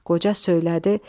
Qoca söylədi.